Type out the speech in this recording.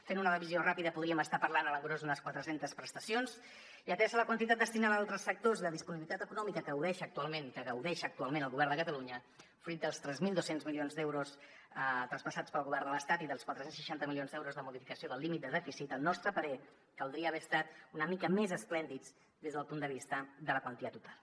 fent una divisió ràpida podríem estar parlant a l’engròs d’unes quatre centes prestacions i atesa la quantitat destinada a altres sectors i la disponibilitat econòmica que gaudeix actualment que gaudeix actualment el govern de catalunya fruit dels tres mil dos cents milions d’euros traspassats pel govern de l’estat i dels quatre cents i seixanta milions d’euros de modificació del límit de dèficit al nostre parer caldria haver estat una mica més esplèndids des del punt de vista de la quantia total